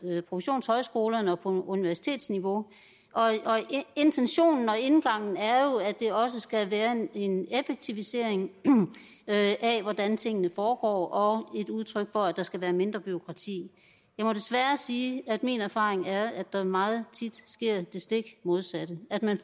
professionshøjskolerne og på universitetsniveau intentionen og indgangen er jo at det også skal være en effektivisering af hvordan tingene foregår og et udtryk for at der skal være mindre bureaukrati jeg må desværre sige at min erfaring er at der meget tit sker det stik modsatte at man